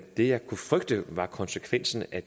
det jeg kunne frygte var konsekvensen af